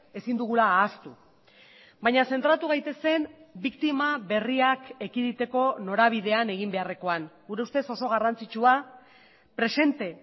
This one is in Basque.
ezin dugula ahaztu baina zentratu gaitezen biktima berriak ekiditeko norabidean egin beharrekoan gure ustez oso garrantzitsua presente